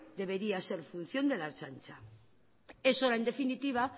debería ser función de la ertzaintza es hora en definitiva